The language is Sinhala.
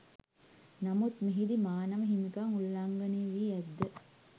නමුත් මෙහිදී මානව හිමිකම් උල්ලංඝනය වී ඇත්ද?